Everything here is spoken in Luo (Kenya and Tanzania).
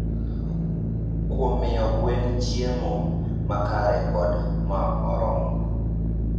Kuom miyo gwen chiemo makare kod ma oromo.